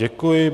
Děkuji.